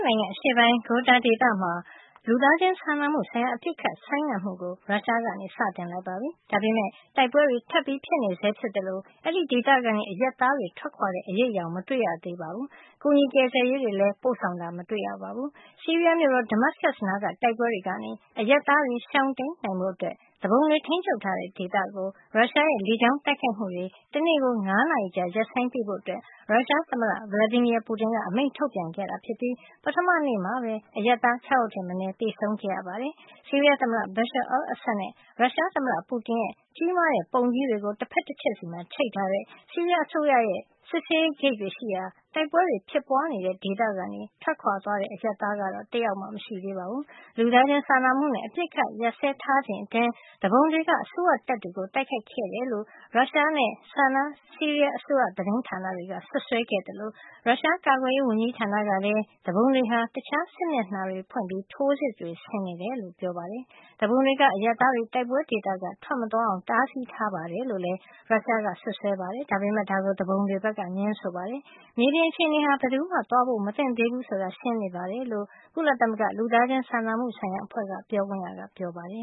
နိုင်ငံ အရှေ့ပိုင်း Ghouta ဒေသမှာ လူသားချင်းစာနာမှုဆိုင်ရာ အပစ်အခတ် ဆိုင်းငံ့မှုကို ရုရှားကစတင်လိုက်ပါပြီ။ ဒါပေမယ့် တိုက်ပွဲတွေ ထပ်ဖြစ်နေဆဲဖြစ်သလို အဲဒီဒေသကနေ အရပ်သားတွေ ထွက်ခွါတဲ့အရိပ်အယောင်မတွေ့ရေသေးပါဘူး ဒါ့အပြင်ကူညီကယ်ဆယ်ရေး တွေလည်း ပို့ဆောင်တာမရှိသေးပါဘူး။ ဆီးရီးယားမြို့တော် Damascus နားက တိုက်ပွဲတွေကနေ အရပ်သားတွေ ရှောင်တိမ်းနိုင်ဖို့အတွက် သူပုန်တွေ ထိမ်းချုပ်ထားတဲ့ ဒေသကို ရုရှားရဲ့ လေကြောင်း တိုက်ခိုက်နေမှုတွေ တနေ့ကို ၅ နာရီကြာ ရပ်ဆိုင်းပေးဖို့ ရုရှားသမ္မတ Vladimir Putin က အမိန့်ကထုတ်ပြန်ခဲ့ပြီး ပထမနေ့မှာပဲ အရပ်သား ၆ ယောက်ထက်မနည်း သေဆုံးခဲ့ရပါတယ်။ ဆီးရီးယားသမ္မတ Bashar al-Assad နဲ့ ရုရှားသမ္မတ Putin ရဲ့ ကြီးမားတဲ့ပုံကြီးတွေ တဖက်တချက် ချိတ်ထားတဲ့ ဆီးရီးယားအစိုးရ ရဲ့ စစ်ဆေးရေးဂိတ်တွေရှိရာ တိုက်ပွဲတွေ ဖြစ်ပွါးနေတဲ့ဒေသက ထွက်ခွါသွားတဲ့ အရပ်သားတယောက်မှ မရှိသေးပါဘူး။ လူသားချင်းစာနာမှုနဲ့ အပစ်အခတ်ရပ်စဲထားချိန်အတွင်း သူပုန်တွေက အစိုးရတပ်တွေကို တိုက်ခိုက်ခဲ့တယ်လို့ ရုရှားနဲ့ SANA ဆီးရီးယားးအစိုးရသတင်းဌာန တွေက စွပ်စွဲခဲ့သလို ရုရှားကာကွယ်ရေးဝန်ကြီးဌာနကလည်း သူပုန်တွေဟာ တခြားစစ်မျက်နှာတွေ ကနေလည်း ထိုးစစ်တွေ ဆင်နေတယ်လို့ ပြောပါတယ်။ သူပုန်တွေက အရပ်သားတွေ တိုက်ပွဲဒေသက ထွက်မသွားအောင် တားဆီးထားတယ်လို့ ရုရှားက စွပ်စွဲပေမယ့် ဒါကို သူပုန်တွေက ငြင်းဆိုပါတယ်။ မြေပြင်အခြေအနေဟာ ဘယ်သူမှ သွားဖို့မသင့် သေးဘူးဆိုတာရှင်းနေတယ်လို့ ကုလသမဂ္ဂ လူသားချင်းစာနာမှု ဆိုင်ရာအဖွဲ့ ပြောခွင့်ရက ပြောပါတယ